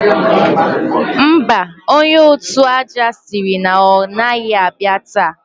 Mba, onye òtụ̀ aja sịrị na ọ o gaghị abịa taa